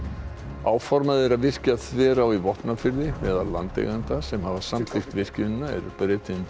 áformað er að virkja Þverá í Vopnafirði meðal landeigenda sem hafa samþykkt virkjunina er Bretinn